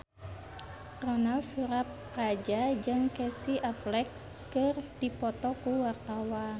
Ronal Surapradja jeung Casey Affleck keur dipoto ku wartawan